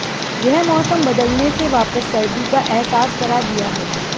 यह मौसम बदलने से वापस सर्दी का अहसास करा दिया है